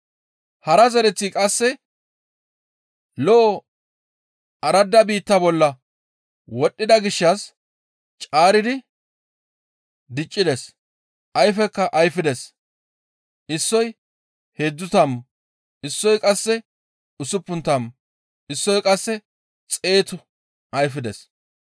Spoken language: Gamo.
Hara zereththi qasse lo7o orde biitta bolla wodhdhida gishshas caaridi diccides; ayfekka ayfides; Issoy heedzdzu tammu, issoy qasse usuppun tammu, issoy qasse xeetu ayfides.»